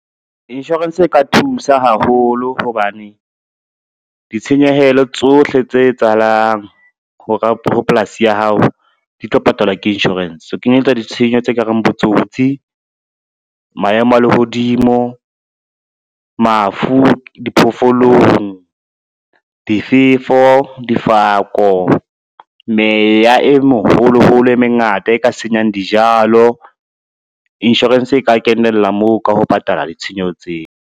Insurance e ka thusa haholo hobane, ditshenyehelo tsohle tse etsahalang ho polasi ya hao di tlo patalwa ke insurance, ho kenyelletswa di tshenyo tse kareng, botsotsi, maemo a lehodimo, mafu, diphoofolong, difefo, difako, meya e moholoholo e mengata e ka senyang dijalo, insurance e ka kenella moo ka ho patala ditshenyeho tseo.